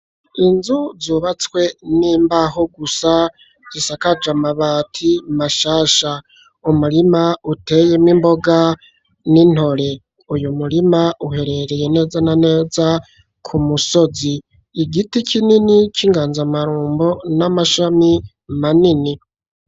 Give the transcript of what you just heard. Inzu zubatswe n'imbaho gusa zisakaje amabati mashasha ,umurima uteyemwo imboga n'intore. uyu murima uherereye neza na neza ku musozi, igiti kinini c'inganzamarombo n'amashami manini.